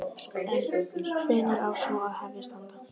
En hvenær á svo að hefjast handa?